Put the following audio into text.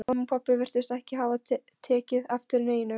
Mamma og pabbi virtust ekki hafa tekið eftir neinu.